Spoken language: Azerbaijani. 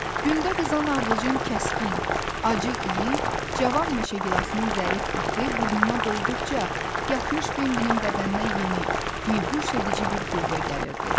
Gündə qızan ardıcın kəskin, acı iyi, cavan meşəgilasının zərif ətri burnuna dolduqca, yatmış Bembilin bədəninə yeni, bihuş edici bir qüvvə gəlirdi.